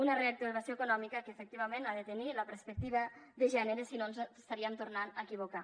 una reactivació econòmica que efectivament ha de tenir la perspectiva de gènere si no ens estaríem tornant a equivocar